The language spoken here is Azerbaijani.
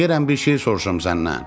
Deyirəm bir şey soruşum səndən.